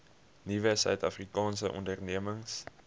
nuwe suidafrikaanse ondernemings